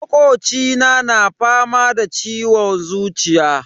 Makocina na fama da ciwon zuciya.